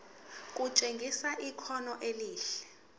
kutshengisa ikhono elihle